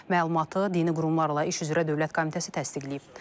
Məlumatı Dini Qurumlarla İş üzrə Dövlət Komitəsi təsdiqləyib.